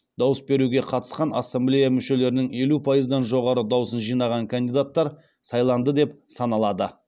дауыс беруге қатысқан ассамблея мүшелерінің елу пайыздан жоғары дауысын жинаған кандидаттар сайланды деп саналады